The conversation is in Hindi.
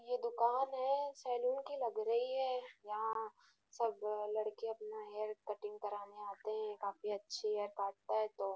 ये दुकान है। सलून की लग रही है यहाँ सब लड़के अपने हेयर कट्टिंग कराने आते हैं। काफ़ी अच्छी हेयर काटता है तो |